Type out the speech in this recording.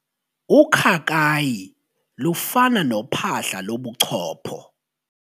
Ukhakayi lufana nophahla lobuchopho.